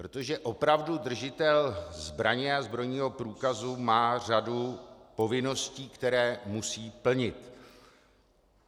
Protože opravdu držitel zbraně a zbrojního průkazu má řadu povinností, které musí plnit.